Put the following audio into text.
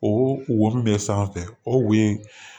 O wo min bɛ sanfɛ o wo in